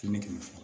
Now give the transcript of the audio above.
Kimi kɛmɛ fila